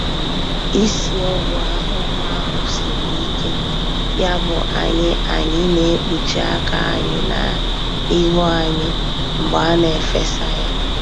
Ísì Ọgwụ ahụhụ ahu siri ike, yabụ anyị anyị naekpuchi aka anyị na ihu anyị mgbe a na-efesa ya.